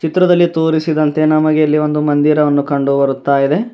ಚಿತ್ರದಲ್ಲಿ ತೋರಿಸಿದಂತೆ ನಮಗೆ ಇಲ್ಲಿ ಒಂದು ಮಂದಿರವನ್ನು ಕಂಡು ಬರುತಾ ಇದೆ.